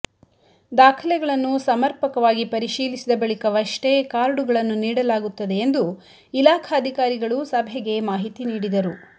ದಾಖಲೆಗಳನ್ನು ಸಮರ್ಪಕವಾಗಿ ಪರಿಶೀಲಿಸಿದ ಬಳಿಕವಷ್ಟೇ ಕಾರ್ಡುಗಳನ್ನು ನೀಡಲಾಗುತ್ತದೆ ಎಂದು ಇಲಾಖಾಧಿಕಾರಿಗಳು ಸಭೆಗೆ ಮಾಹಿತಿ ನೀಡಿದರು